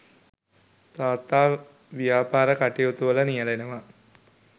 තාත්තා ව්‍යාපාර කටයුතුවල නියැලෙනවා.